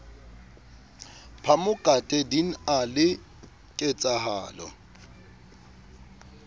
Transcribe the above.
phamokate din a le ketsahalo